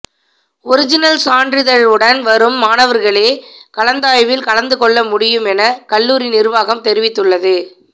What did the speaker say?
original சான்றிதழுடன் வரும் மாணவர்களே கலந்தாய்வில் கலந்து கொள்ள முடியும் என கல்லூரி நிர்வாகம் தெரிவித்துள்ளது